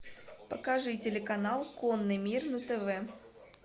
покажи телеканал конный мир на тв